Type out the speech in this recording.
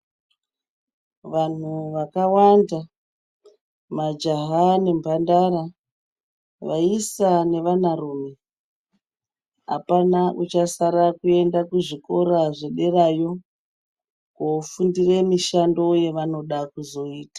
Vanhu wakavanda majaya nemhandara, vaisa nevanarume hapana uchasara kuenda kuzvikoro zvederayo kufundire mishando yawanoda kuzoita.